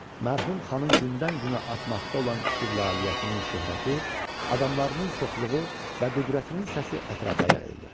Mərhum xanın gündən-günə artmaqda olan istiqlaliyyətinin şöhrəti, adamlarının çoxluğu və qüdrətinin səsi ətrafa yayıldı.